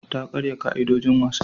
Ta karya ka'idojin wasan.